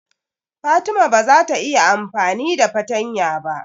Fatima ba za ta iya amfani da fatanya ba.